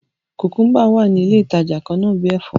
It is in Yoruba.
Kùkúmbà wá ní ilé ìtàjà kànnà bi èfó.